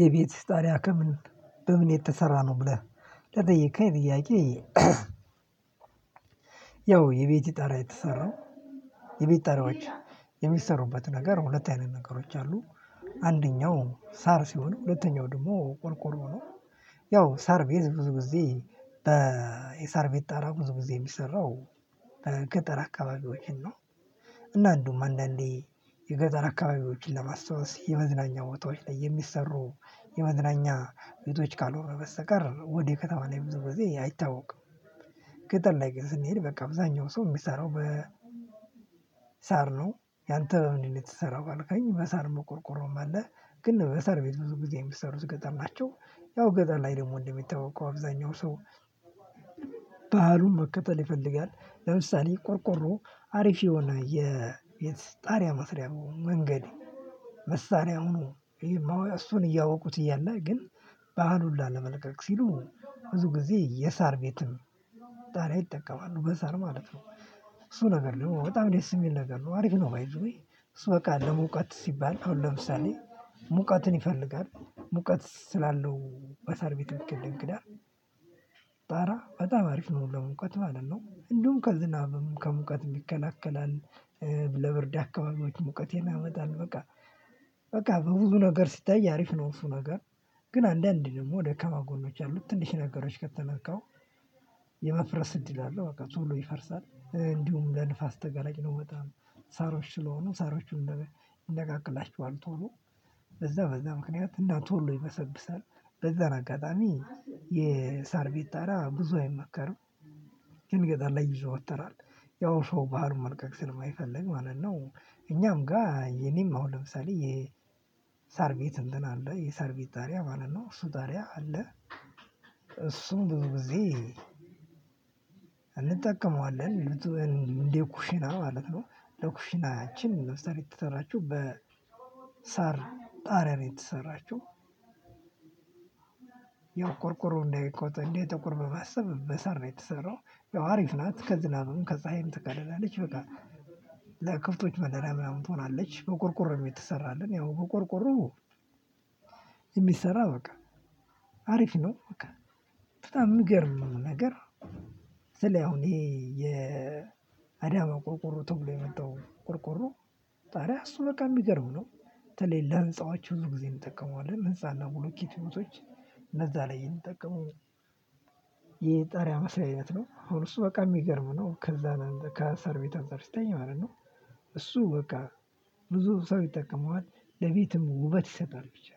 የቤትህ ጣሪያ ከምን በምን የተሰራ ነው ብለህ ለጠየቀኝ ጥያቄ ያው የቤቴ ጣራያ የተሰራው የቤት ጣራዎች የሚሰሩበት ነገር ሁለት አይነት ነገሮች አሉ አንደኛው ሳር ሲሆን ሁለተኛው ደግሞ ቆርቆሮ ነው ያው ሳር ቤት ብዙ ጊዜ የሳር ቤት ጣራ ብዙ ጊዜ የሚሰራው በገጠር አካባቢዎችን ነው እና አንዱም አንዳንዴ የገጠር አካባቢዎችን ለማስታወስ የመዝናኛ ወጥቶች ላይ የሚሰሩ የመዝናኛ ቤቶች ካልሆነ በስተቀር ወዴ ከተማ ላይ ብዘ ግዜ አይታወቅም ከጠር ላይ ግን ስንሄድ በቃ አብዛኛው ሰው የሚሰራው በ ሳር ነው ያንተ እንዴት ነው የተሰራው ካልከኝ በሳር በቆርቆሮም አለ ግን የሳር ቤት ብዙ ጊዜ የሚሰሩት ገጠር ናቸው። ያው ገጠር ላይ ደግሞ እንደሚታወቀው አብዛኛው ሰው ባህሉን መከተል ይፈልጋል። ለምሳሌ ቆርቆሮ አሪፍ የሆነ የጣሪያ መስሪያ መንገድ መሳሪያ ሆኖ እሱን እያወቁት እያለ ግን ባህሉን ላለመልቀቅ ሲሉ ብዙ ጊዜ የሳር ቤትም ጣሪያ ይጠቀማሉ፣ በሳር ማለት ነው። እሱ ነገር ነው በጣም ደስ የሚል ነገር ነው። አሪፍ ነው። ባይ ዘ ዌይ እሱ በቃ ለሙቀት ሲባል አሁን ለምሳሌ ሙቀትን ይፈልጋል። ሙቀት ስላለው በሰርቤት ቅድም ክዳን ጣራ በጣም አሪፍ ነው ለሙቀት ማለት ነው። እንደውም ከዝናብም ከሙቀትም ይከላከላ። ለብርድ አካባቢዎች ሙቀትን ያመጣል በቃ። በቃ በብዙ ነገር ሲታይ አሪፍ ነው። እሱ ነገር ግን አንዳንዴ ደግሞ ደከማ ጎኖች አሉት ትንሽ ነገሮች ከተነካው። የመፍረስ እድል አለው። በቃ ቶሎ ይፈርሳል። እንድሁም ለንፈስ ተገለጭ ነው በጣም። ሰሮች ስለሆኑ ሰሮች ይነቃቀላቸዋል ቶሎ። እና ቶሎ ይበሰብሳል በዛን አጋጠሚ የሰር ቤት ጠሪያ ብዙ አይመከርም። ግን ገጣር ላይ ይዛወታራል ያው ሰው ባህል መልቀቅ ስለማይፈለግ ማለት ነው። እኛም ጋር የኔም አሁን ለምሳሌ የሳር ቤት እንትን አለ የሳርቤት ቤት ጣሪያ ማለት ነው። እሱ ጣሪያ አለ እሱም ብዙ ጊዜ እንጠቀመዋለን። ልትወን እንዴ ኩሽና ማለት ነው። ለኩሽናችን መስሪት የተሰራችው በሳር ጣሪያ ነው የተሰራችው የቆርቆሮ እንደቆጠነ ጥቁር በማሰብ በሰር ነው የተሰራው ያው አሪፍ ናት። ከዝናብም ከፀሀይም ትከልላለች በቃ ለክብቶች መደራ ምናምን ትሆናለች። በቆርቆሮ የተሰራ አለን። ያው በቆርቆሮ የሚሰራ በቃ አሪፍ ነው፣ በቃ በጣም የሚገርም ነገር ስል አሁን ይሄ የአዳማ ቆርቁሮ ተብሎ የመጣው ቆርቁሮ ጣሪያ እሱ በቃ የሚገርም ነው። በተለይ ለህንፃዎች ብዙ ጊዜ እንጠቀመዋለን። ህንፃና ብሎኬት ቤቶች እነዛ ላይ የምንጠቀመው። የጣሪያ መስሪያ አይነት ነው። አሁን እሱ በቃ የሚገርም ነው። ከዛ ከአሰር ቤት አንፃር ሲተይ ማለት ነው። እሱ በቃ ብዙ ሰው ይጠቀመዋል። ለቤትም ውበት ይሰጣል። ብቻ